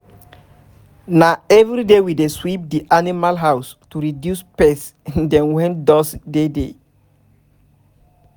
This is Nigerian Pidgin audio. na every day we dey sweep d animals house to reduce pest dem wen dust dey dey